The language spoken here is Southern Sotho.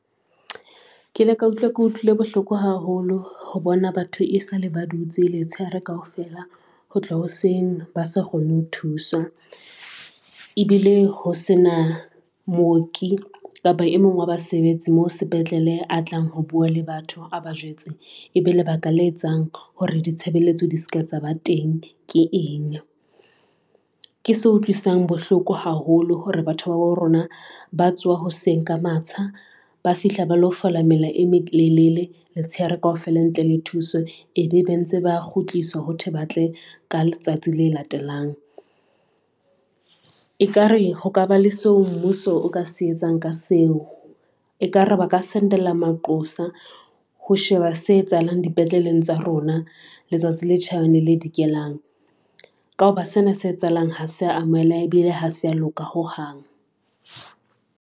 Ke le ka utlwa ke utlwile bohloko thele a tlang ho bua le batho a ba jwetse ebe lebaka la etsang hore ditshebeletso di tshaba teng? Ke eng ke so utloisang bohloko haholo hore batho babo rona ba tsoha hoseng ka matla, ba fihla ba lo fola mela e mmedi Lelele letshehare kaofela, ntle le thuso e be be ntse ba kgutlisoa hothoe, ba tle ka letsatsi le latelang. Ekare ho ka ba le seo mmuso o ka se etsang ka seo ekare ba ka send. Ela Mark Qosa ho sheba se etsahalang dipetleleng tsa rona. Letsatsi le Chabane, le dikelang, ka hoba sena se etsahalang. Ha se amohela ebile ha se a loka ho hang.